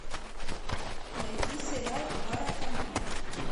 найди сериал баракамон